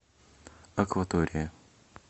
акватория